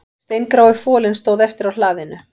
Steingrái folinn stóð eftir á hlaðinu